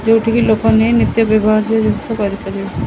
ଯେଉଁଠିକି ଲୋକମାନେ ନିତ୍ୟ ବ୍ୟବହାର୍ଯ୍ୟ ଜିନିଷ କରିପାରିବେ ।